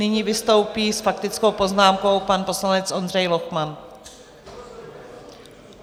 Nyní vystoupí s faktickou poznámkou pan poslanec Ondřej Lochman.